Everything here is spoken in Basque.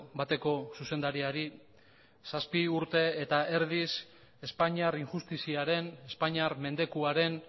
bateko zuzendariari zazpi urte eta erdiz espainiar injustiziaren espainiar mendekuaren